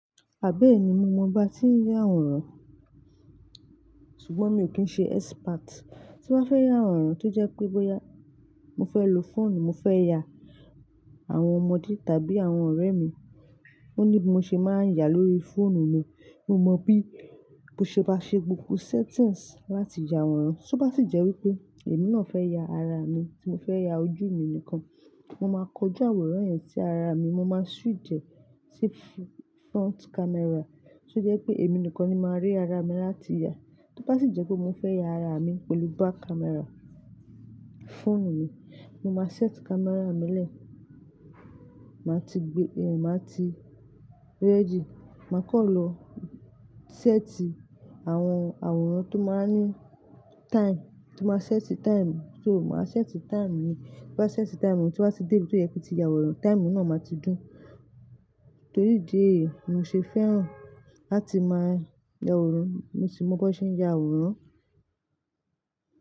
Àbí èmi mo mọ ba tí ń ya àwòrán, ṣùgbọ́n mi ò kí ń ṣe expert. Tí wá fẹ́ ya àwòrán tó jẹ́ pé bóyá mo fẹ́ lo fóònù, mo fẹ́ ya àwọn ọmọdé tàbí àwọn ọ̀rẹ́ mi, mo ní bí mo ṣe máa ń yà lórí fóònù mi. Mo mọ bí mo ṣe máa ṣe gbogbo settings láti ya àwòrán. Só bá sì jẹ́ wípé èmi náà fẹ́ ya ara mi tí mo fẹ́ ya ojú mi nìkan, mo máa kọjú àwòrán yẹn sí ara mi, mo máa switch ẹ sí front camera. Tó jẹ́ pé èmi nìkan ni màá rí ara mi láti ya. Tí ó bá sì jẹ́ pé mo fẹ́ ya ara mi pẹ̀lú back camera fóònù mi, mo máa set camera mi náà. Màá ti gbe-- màá ti ready, màá kọ́ lọ set àwọn àwòrán tó máa ń ní time, tó máa ń set time. Só mo máa set time mi. Tí bá ti set time mi, tí n bá tì dé ibi tó yẹ kí n ti ya àwòrán, time mi náà máa ti dùn. Torí ìdí èyí mo ṣe fẹ́ràn láti máa ya àwòrán, mo sì mọ bí wọ́n ṣe ń ya àwòrán.